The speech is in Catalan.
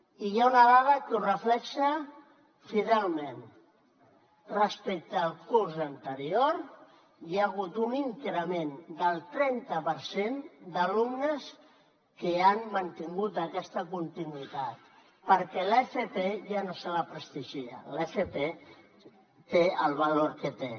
i hi ha una dada que ho reflecteix fidelment respecte al curs anterior hi ha hagut un increment del trenta per cent d’alumnes que han mantingut aquesta continuïtat perquè a l’fp ja no se la prestigia l’fp té el valor que té